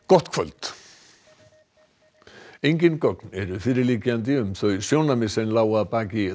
gott kvöld engin gögn eru fyrirliggjandi um þau sjónarmið sem lágu að baki